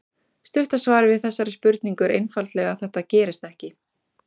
Stutta svarið við þessari spurningu er einfaldlega að þetta gerist ekki.